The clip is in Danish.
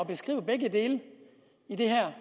beskrive begge dele i det her